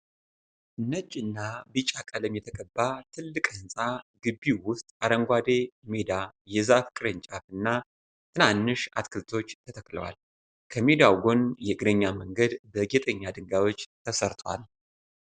ነጭና ቢጫ ቀለም የተቀባ ትልቅ ህንፃ ግቢዉ ዉስጥ አረንጓዴ ሜዳ የዛፍ ቅርንጫፍ እና ትናንሽ አትክልቶች ተተክለዋል። ከሜዳዉ ጎን የእግረኛ መንገድ በጌጠኛ ድንጋዮች ተሰርቷል።